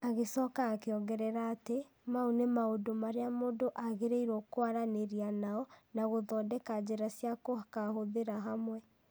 Agĩcoka akĩongerera atĩ, mau nĩ maũndũ marĩa mũndũ agĩrĩirũo kwaranĩria nao na gũthondeka njĩra cia gũkaahũthĩra hamwe.